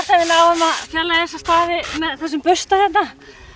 við náum að fjarlægja þessa stafi með þessum bursta hérna